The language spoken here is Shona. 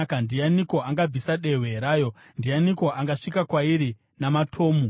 Ndianiko angabvisa dehwe rayo? Ndianiko angasvika kwairi namatomu?